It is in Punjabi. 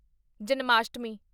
ਜਨਮਾਸ਼ਟਮੀ